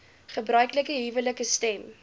gebruiklike huwelike stem